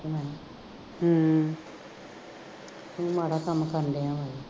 ਹੂੰ ਤੂੰ ਮਾੜਾ ਕੰਮ ਕਰ ਲਿਆ